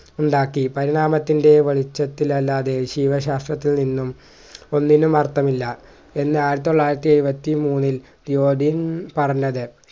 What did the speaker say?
ഉണ്ടാക്കി പരിണാമത്തിൻ്റെ വെളിച്ചത്തിൽ അല്ലാതെ ജീവശാസ്ത്രത്തിൽ നിന്നും ഒന്നിനും അർത്ഥമില്ല എന്ന് ആയിരത്തി തൊള്ളായിരത്തി എഴുപത്തി മൂന്നിൽ യോദിൻ പറഞ്ഞത്